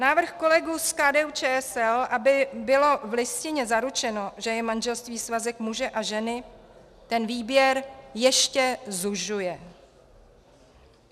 Návrh kolegů z KDU-ČSL, aby bylo v Listině zaručeno, že je manželství svazek muže a ženy, ten výběr ještě zužuje.